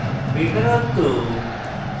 বেকারত্ব